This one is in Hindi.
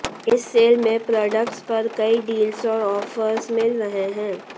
इस सेल में प्रोडक्ट्स पर कई डील्स और ऑफर्स मिल रहे हैं